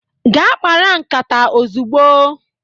gaa kpara nkata ozugbo!